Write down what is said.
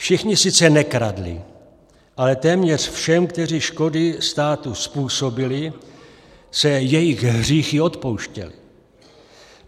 Všichni sice nekradli, ale téměř všem, kteří škody státu způsobili, se jejich hříchy odpouštěly.